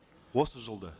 осы жылда